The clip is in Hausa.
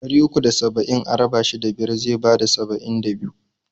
Ɗari uku da saba'in a raba shi da biyar zai bada saba'in da biyu.